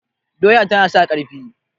doya tana sa ƙarfi